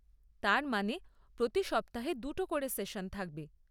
তার মানে প্রতি সপ্তাহে দুটো করে সেশন থাকবে।